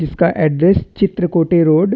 इसका address Chitrakote road --